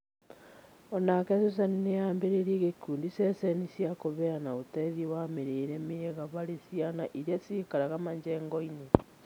O-nake Susan nĩ ambĩrĩirie gĩkundi ceceni cĩa kũheana uteithio wa mĩrĩre mĩega harĩ ciana iria ciikaraga majengo-inĩ.